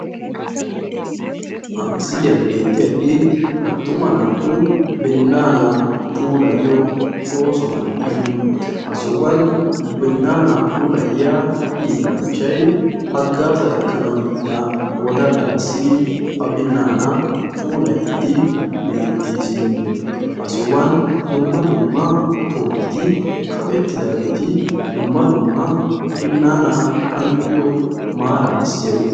ha misiliani bettiyage attuma naatu binaana puulayiyo oosso sohuwa ha sohuani hagazza ekkanawu yiida yelagayokka binnana puulayidi diyoge beettessi.